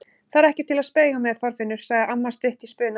Það er ekki til að spauga með, Þorfinnur! sagði amma stutt í spuna.